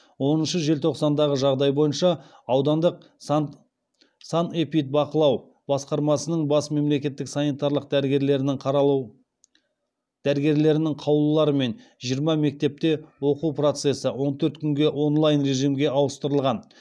оныншы желтоқсандағы жағдай бойынша санэпидбақылау басқармасының бас мемлекеттік санитарлық дәрігерлерінің қаулыларымен жиырма мектепте оқу процесі он төрт күнге онлайн режимге ауыстырылған